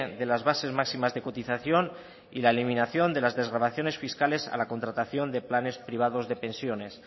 de las bases máximas de cotización y la eliminación de las desgravaciones fiscales a la contratación de planes privados de pensiones